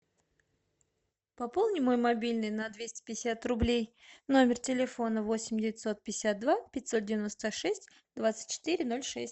пополни мой мобильный на двести пятьдесят рублей номер телефона восемь девятьсот пятьдесят два пятьсот девяносто шесть двадцать четыре ноль шесть